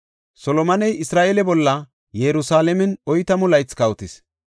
Solomoney Isra7eele bolla Yerusalaamen oytamu laythi kawotis.